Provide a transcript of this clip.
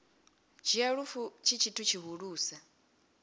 dzhia lufu tshi tshithu tshihulusa